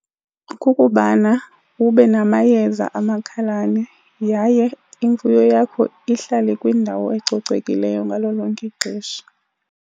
Kukubana ube namayeza amakhalane yaye imfuyo yakho ihlale kwindawo ecocekileyo ngalo lonke ixesha.